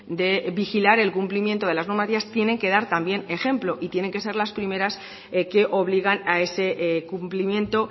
de vigilar el cumplimiento de las normativas tienen que dar también ejemplo y tienen que ser las primeras que obligan a ese cumplimiento